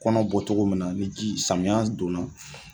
Kɔnɔ bɔ cogo min na ni ji samiya donna